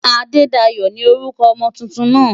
Adedayo ni orúkọ ọmọ tuntun náà.